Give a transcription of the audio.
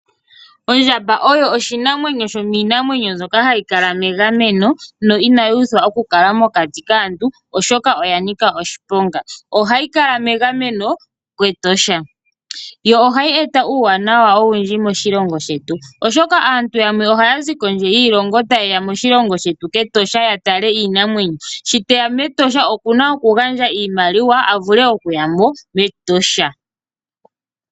Ondjamba oyo oshinamwenyo shomiinamwenyo mbyoka hayi kala megameno no inayi uthwa okukala mokati kaantu, oshoka oya nika oshiponga. Ohayi kala megameno kEtosha. Ohayi eta uuwanawa owundji moshilongo shetu, oshoka aantu yamwe ohaya zi kondje yiilongo taye ya moshilongo shetu kEtosha ya tale iinamwenyo. Shi te ya mEtosha oku na okugandja iimaliwa, opo a vule okuya mo mEtosha.